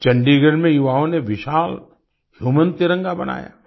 चंडीगढ़ में युवाओं ने विशाल ह्यूमन तिरंगा बनाया